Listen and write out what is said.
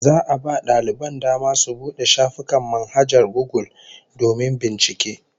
Za'a a ba daliban dama su bude shafukan manhajar Gugul domin bincike